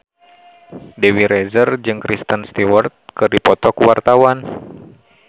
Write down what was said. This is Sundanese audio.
Dewi Rezer jeung Kristen Stewart keur dipoto ku wartawan